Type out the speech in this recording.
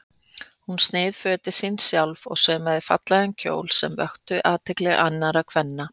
Hún sneið fötin sín sjálf og saumaði fallega kjóla sem vöktu athygli annarra kvenna.